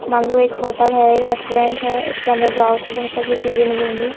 मान लो एक होटल है। एक रेस्टोरेंट है। इसके अंदर जाओ तो बहोत सारी चीजें मिलेंगी।